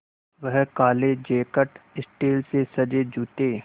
वह काले jacket steel से सजे जूते